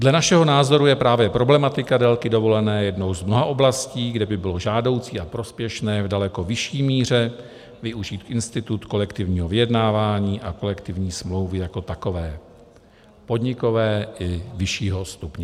Dle našeho názoru je právě problematika délky dovolené jednou z mnoha oblastí, kde by bylo žádoucí a prospěšné v daleko vyšší míře využít institut kolektivního vyjednávání a kolektivní smlouvy jako takové, podnikové i vyššího stupně.